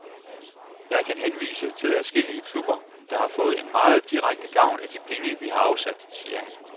Jeg kan henvise til adskillige klubber, der har fået en meget direkte gavn af de penge, vi har afsat, siger han.